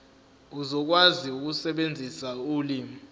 uzokwazi ukusebenzisa ulimi